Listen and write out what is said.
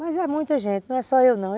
Mas é muita gente, não é só eu não.